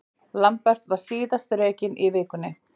Lambert var síðan rekinn í vikunni.